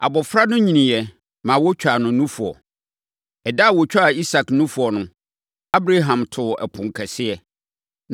Abɔfra no nyiniiɛ, ma wɔtwaa no nufoɔ. Ɛda a wɔtwaa Isak nufoɔ no, Abraham too ɛpono kɛseɛ.